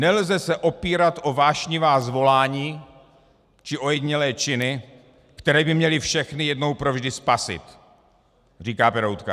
Nelze se opírat o vášnivá zvolání či ojedinělé činy, které by měly všechny jednou pro vždy spasit," říká Peroutka.